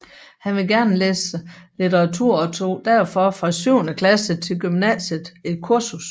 Han ville gerne læse litteratur og tog derfor fra syvende klasse til gymnasiet et kursus